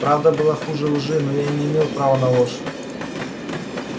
правда была хуже лжи но я и не имел права на ложь